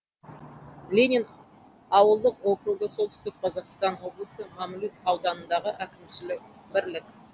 ленин ауылдық округі солтүстік қазақстан облысы мамлют ауданындағы әкімшілік бірлік